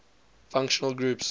functional groups